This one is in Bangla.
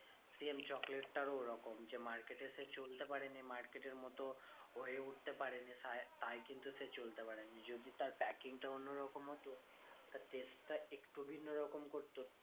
Same চকলেটটারও ওরকম যে, market এ সে চলতে পারেনি market এর মতো হয়ে উঠতে পারেনি তাই কিন্তু সে চলতে পারেনি। যদি তার packing টা অন্য রকম হতো। তার test টা একটু ভিন্ন রকম করতো